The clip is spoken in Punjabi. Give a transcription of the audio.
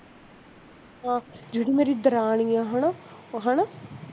ਜਿਹੜੀ ਮੇਰੀ ਦਰਾਣੀ ਆ ਓਹੋ ਉਹ ਹੈਨਾ